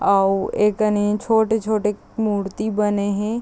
औ एकने छोटी-छोटी मूर्ति बने हे ।